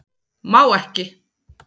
Má ekki